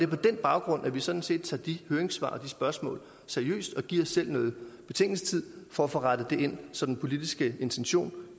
på den baggrund at vi sådan set tager de høringssvar og de spørgsmål seriøst og giver os selv noget betænkningstid for at få rettet det ind så den politiske intention